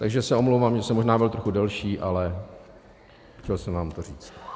Takže se omlouvám, že jsem možná byl trochu delší, ale chtěl jsem vám to říct.